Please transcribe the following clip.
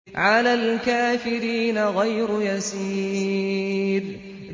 عَلَى الْكَافِرِينَ غَيْرُ يَسِيرٍ